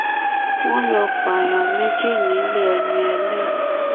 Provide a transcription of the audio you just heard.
wọ́n lọ́ọ́ pààyàn méjì nílé ẹni ẹlẹ́ni